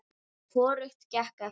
Hvorugt gekk eftir.